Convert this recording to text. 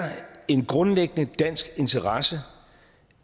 en grundlæggende dansk interesse